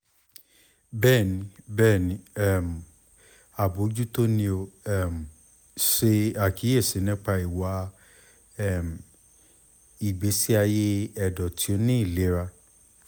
bẹẹni bẹẹni um abojuto ni o um ṣe akiyesi nipa iwa um igbesi aye ẹdọ ti o ni ilera